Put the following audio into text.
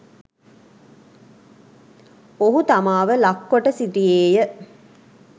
ඔහු තමාව ලක් කොට සිටියේය